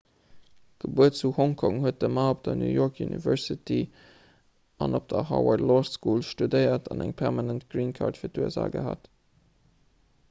gebuer zu hongkong huet de ma op der new york university an op der harvard law school studéiert an eng permanent green card fir d'usa gehat